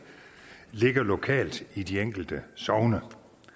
ligger lokalt i de enkelte sogne